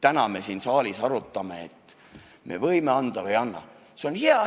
Täna me siin saalis arutame, kas me anname neile selle kodanikuõiguse või ei anna.